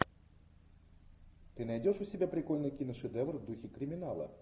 ты найдешь у себя прикольный киношедевр в духе криминала